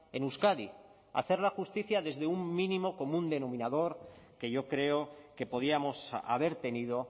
en euskadi hacerla justicia desde un mínimo común denominador que yo creo que podíamos haber tenido